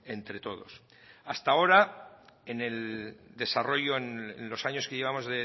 entre todos hasta ahora en el desarrollo en los años que llevamos